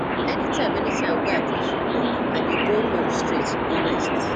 anytime anytime wey i close from work i dey go home straight go rest